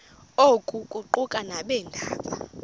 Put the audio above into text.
oku kuquka nabeendaba